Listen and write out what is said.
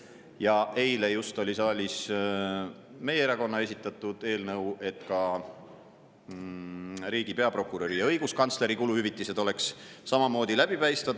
Ja just eile oli siin saalis meie erakonna esitatud eelnõu selle kohta, et ka riigi peaprokuröri ja õiguskantsleri oleks samamoodi läbipaistvad.